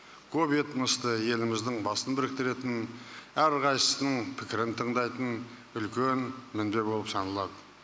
көп этносты еліміздің басын біріктіретін әр қайсысының пікірін тындайтын үлкен мүдде болып саналады